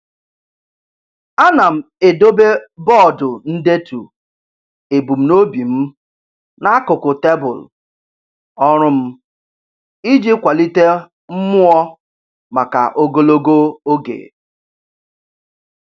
A na m edobe bọọdụ ndetu ebumnobi m n'akụkụ tebụl ọrụ m iji kwalite mmụọ maka ogologo oge.